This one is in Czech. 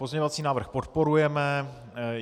Pozměňovací návrh podporujeme.